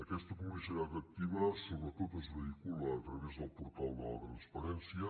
aquesta publicitat activa sobretot es vehicula a través del portal de la transparència